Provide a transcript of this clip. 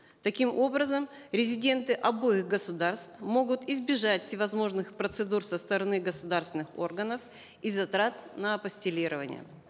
таким образом резиденты обоих государств могут избежать всевозможных процедур со стороны гсоударственных органов и затрат на апостилирование